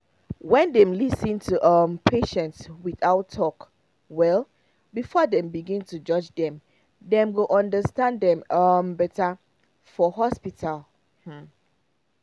when dem lis ten to um patients without talk well before them begin to judge them dem go understand dem um better for hospital um